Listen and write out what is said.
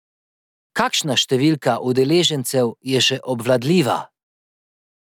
Kakšna številka udeležencev je še obvladljiva?